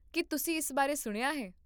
ਕੀ ਤੁਸੀਂ ਇਸ ਬਾਰੇ ਸੁਣਿਆ ਹੈ?